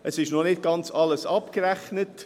Es ist noch nicht ganz alles abgerechnet.